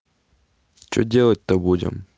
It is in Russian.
что делать-то будем